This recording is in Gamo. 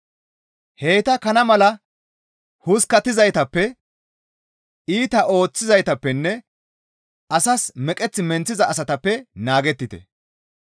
Heyta kana mala huskkattizaytappe, iita ooththizaytappenne asas meqeth menththiza asatappe naagettite.